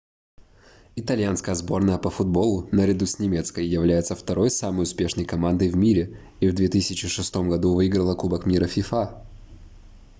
итальянская сборная по футболу наряду с немецкой является второй самой успешной командой в мире и в 2006 году выиграла кубок мира фифа